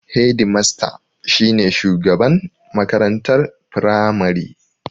Hedimasta shi ne shugaban makarantar firamari